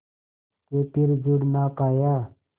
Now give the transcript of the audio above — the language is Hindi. के फिर जुड़ ना पाया